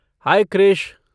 High Krish!